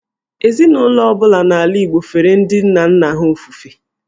Ezinụlọ ọ bụla n’ala Igbo fere ndị nna nna ha ofufe.